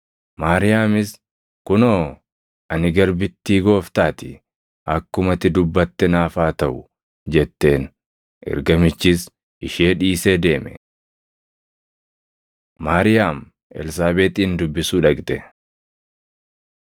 Maariyaamis, “Kunoo, ani garbittii Gooftaa ti. Akkuma ati dubbatte naaf haa taʼu” jetteen. Ergamichis ishee dhiisee deeme. Maariyaam Elsaabeexin Dubbisuu Dhaqxe